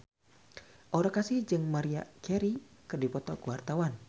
Aura Kasih jeung Maria Carey keur dipoto ku wartawan